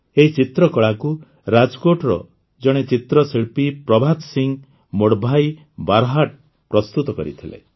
ଏହି ଚିତ୍ରକଳାକୁ ରାଜ୍କୋଟ୍ର ଜଣେ ଚିତ୍ରଶିଳ୍ପୀ ପ୍ରଭାତ ସିଂ ମୋଡ୍ଭାଇ ବାରହାଟ୍ ପ୍ରସ୍ତୁତ କରିଥିଲେ